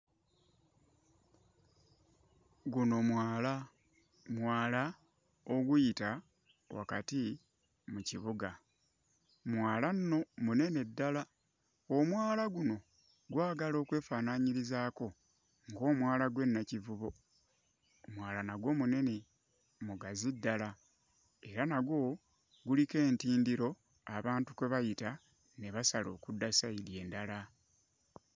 Guno mwala, mwala oguyita wakati mu kibuga, mwala nno munene ddala, omwala guno gwagala okwefaananyirizaako ng'omwala gw'e Nakivubo, omwala nagwo munene mugazi ddala era nagwo guliko entindiro abantu kwe bayita ne basala okudda ssayidi endala.